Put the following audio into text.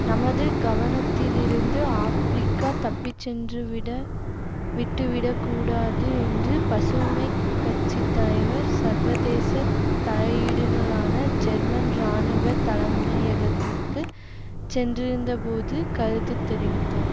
நமது கவனத்திலிருந்து ஆப்ரிக்கா தப்பிச்சென்றுவிட விட்டுவிடக்கூடாது என்று பசுமை கட்சி தலைவர் சர்வதேச தலையீடுகளுக்கான ஜெர்மன் இராணுவ தலைமையகத்திற்கு சென்றிருந்தபோது கருத்து தெரிவித்தார்